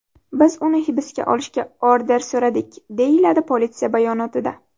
Biz uni hibsga olishga order so‘radik”, deyiladi politsiya bayonotida.